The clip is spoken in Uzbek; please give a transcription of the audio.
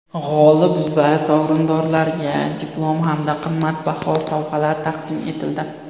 G‘olib va sovrindorlarga diplom hamda qimmatbaho sovg‘alar taqdim etildi.